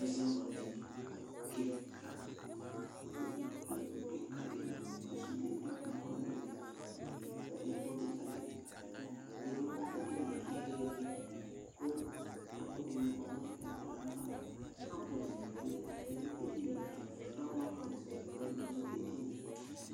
Ɛzawladini kɩka kʋ ikpoku kɩka dɩ ma kʋ sude dʋ ikpoku wanɩ li kʋ ɛkplɔ kɩka dɩ lɛ nʋ edini yɛ ayʋ ɩɩlɩ kʋ ɛkʋɛdɩnɩ ma nʋ ɛkplɔ yɛ ava Kabɔdnɩ bɩ lɛ nʋ edini yɛ Flawa pɔt dɩnɩ bɩ ma nʋ edini yɛ